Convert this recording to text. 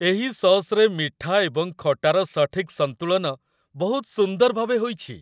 ଏହି ସସ୍‌ରେ ମିଠା ଏବଂ ଖଟାର ସଠିକ୍ ସନ୍ତୁଳନ ବହୁତ ସୁନ୍ଦର ଭାବେ ହୋଇଛି।